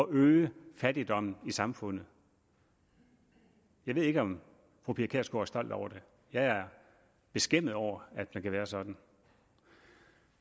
øge fattigdommen i samfundet jeg ved ikke om fru pia kjærsgaard er stolt over det jeg er beskæmmet over at man kan være sådan